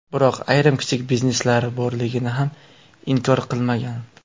Biroq ayrim kichik bizneslari borligini ham inkor qilmagan.